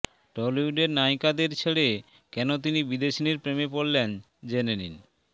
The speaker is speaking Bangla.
টলিউডের নায়িকাদের ছেড়ে কেন তিনি বিদেশিনীর প্রেমে পড়লেন জেনে নিন